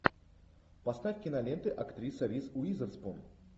поставь киноленты актриса риз уизерспун